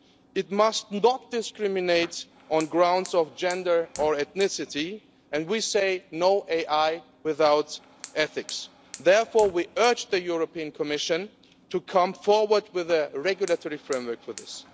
AI must not discriminate on the grounds of gender or ethnicity, and we say, no AI without ethics'. Therefore, we urge the European Commission to come forward with a regulatory framework for this.